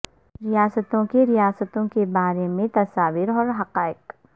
ریاستوں کے ریاستوں کے بارے میں تصاویر اور حقائق